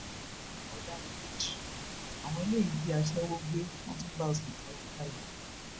ọdaràn méjì àwọn eléyìí jí aṣẹwó gbé wọn tún bá a sún kárakára